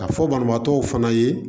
Ka fɔ banabaatɔw fana ye